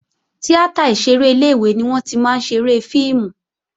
Tíátà ìṣeré ilé-ìwé ni wọ́n tí máa ń ṣeré fíìmù